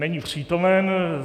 Není přítomen.